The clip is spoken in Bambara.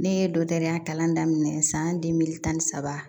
Ne ye dɔkɔtɔrɔya kalan daminɛ san tan ni saba